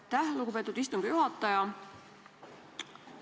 Aitäh, lugupeetud istungi juhataja!